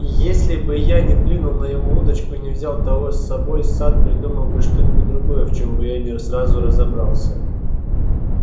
если бы я не клюнул на его удочку и не взял того с собой сатт придумал бы что-нибудь другое в чем бы я не сразу разобрался